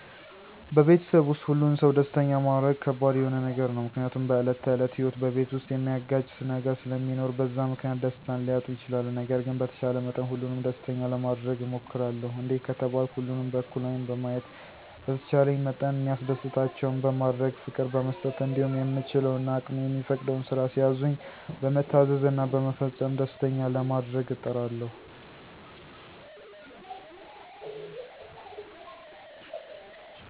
በቤተሰብ ዉስጥ ሁሉን ሰው ደስተኛ ማረግ ከባድ የሆነ ነገር ነው፤ ምክንያቱም በዕለት ተዕለት ህይወት በቤተሰብ ዉስጥ ሚያጋጭ ነገር ስለሚኖር በዛ ምክንያት ደስታን ሊያጡ ይችላሉ። ነገር ግን በተቻለ መጠን ሁሉንም ደስተኛ ለማረግ እሞክራለሁ፤ እንዴት ከተባልኩ ሁሉንም በእኩል ዐይን በማየት፣ በተቻለኝ መጠን ሚያስደስታቸውን በማድረግ፣ ፍቅር በመስጠት እንዲሁም የምችለው እና አቅሜ የሚፈቅደውን ስራ ሲያዙኝ በመታዘዝ እና በመፈጸም ደስተኛ ለማረግ እጥራለሁ።